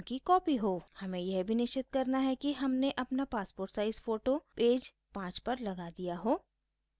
हमें यह भी निश्चित करना है कि हमने अपना पासपोर्ट साइज़ फोटो पेज 5 पर लगा दिया हो